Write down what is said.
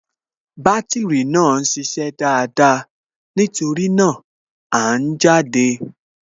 Bátìrì náà ń ṣiṣẹ́ dáadáa, nítorí náà, À ń jáde